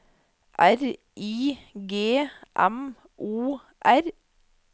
R I G M O R